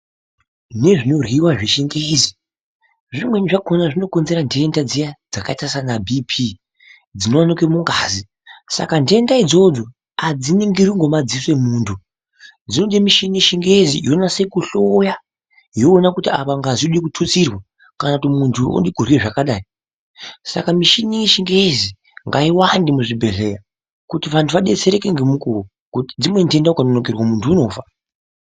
Nezvinoryiwa zvechingezi zvimweni zvakona zvinokonzera nhenda dziya dzakaita sana BP dzinoneke mungazi saka nhenda idzodzo adziningirwi ngemadziso emuntu dzinode mishini yechingezi inonase kuhloya yoona kuti apa ngazi yode kututsirwa kana kuti muntu ode kurye zvakadai saka mishini yechingezi ngaiwande muzvibhehlera kuti vanhu adetserwe ngemukuwo ,ngekuti dzimweni nhenda muntu ukanonokerwa muntu unofa.